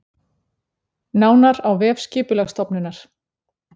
Nánar á vef Skipulagsstofnunar